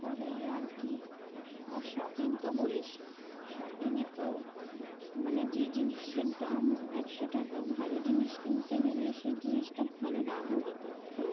করেই আর কি আর তো shopping তো বলিস না, shopping এ তো মানে যে জিনিসের দাম একশো টাকা ভালো জিনিস কিনতে গেলে সে জিনিসটা ভালো দাম ও দিতে হয়। তাই না